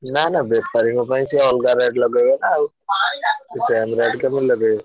ନା ନା ବେପାରୀଙ୍କ ସେ ଅଲଗା rate ଲଗେଇବେ ନା ଆଉ same rate କେମିତି ଲଗେଇବେ।